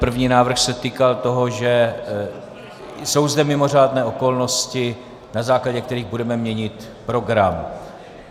První návrh se týkal toho, že jsou zde mimořádné okolnosti, na základě kterých budeme měnit program.